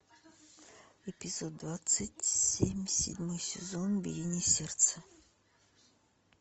эпизод двадцать семь седьмой сезон биение сердца